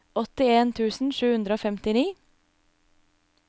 åttien tusen sju hundre og femtini